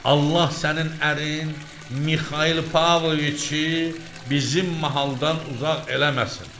Allah sənin ərin Mixail Pavloviçi bizim mahaldan uzaq eləməsin.